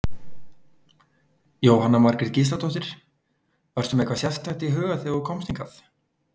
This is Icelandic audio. Jóhanna Margrét Gísladóttir: Varstu með eitthvað sérstakt í huga þegar þú komst hingað?